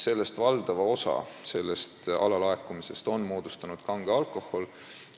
Valdava osa sellest alalaekumisest on moodustanud kange alkoholi alalaekumine.